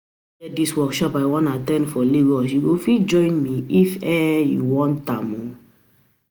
E get dis workshop I wan at ten d for Lagos you go fit join me if um you um want